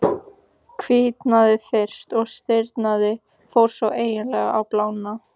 Hvítnaði fyrst, og stirðnaði, fór svo eiginlega að blána.